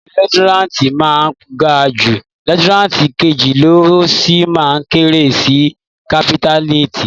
Ìpele lieutẹ́náǹtì máa ga jú lieutẹ́náǹtì kejì lọ́, ó sì máa kéré sí kápítáìnì.